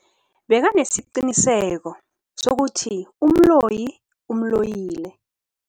Bekanesiqiniseko sokuthi umloyi umloyile.